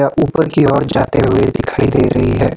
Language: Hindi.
य ऊपर की ओर जाते हुए दिखाई दे रही है।